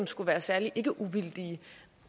skulle være særlig ikkeuvildige